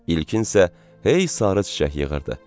İlkin isə hey sarı çiçək yığırdı.